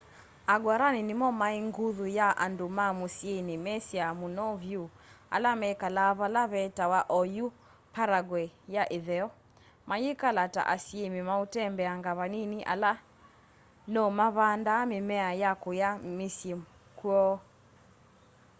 a guarani nimo mai nguthu ya andu ma musyini mesiwe muno vyu ala mekalaa vala vetawa oyu paraguay ya itheo mayikala ta asyimi mautembeanga vanini ala no mavandaa mimea ya kuya misyi kwoo